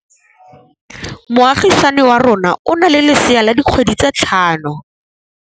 Moagisane wa rona o na le lesea la dikgwedi tse tlhano.